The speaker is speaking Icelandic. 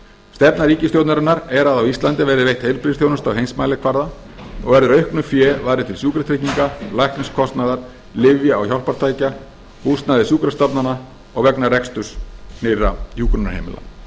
stefna ríkisstjórnarinnar er að á íslandi verði veitt heilbrigðisþjónusta á heimsmælikvarða og verður auknu fé varið til sjúkratrygginga lækniskostnaðar lyfja og hjálpartækja húsnæðis sjúkrastofnana og vegna reksturs nýrra hjúkrunarheimila